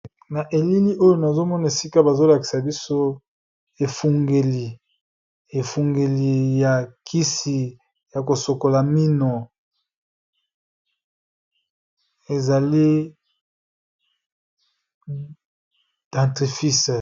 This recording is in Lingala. Na elini oyo nazomona esika bazolakisa biso efungeli, efungeli ya kisi ya kosokola mino ezali dentifrice.